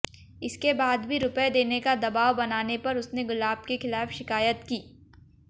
इसके बाद भी रुपए देने का दबाव बनाने पर उसने गुलाब के खिलाफ शिकायत की